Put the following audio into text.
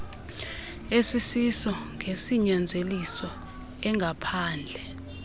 esisiso ngesinyanzeliso engaphandle